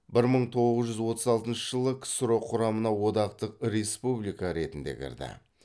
бір мың тоғыз жүз отыз алтыншы жылы ксро құрамына одақтық республика ретінде кірді